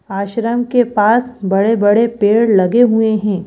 आश्रम के पास बड़े बड़े पेड़ लगे हुए हैं।